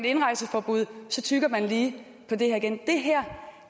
indrejseforbud så tygger man lige på det her igen det her